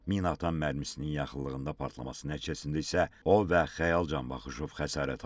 Minaatan mərmisinin yaxınlığında partlaması nəticəsində isə o və Xəyal Canbaxışov xəsarət alıb.